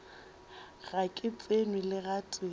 ga ke tsenwe le gatee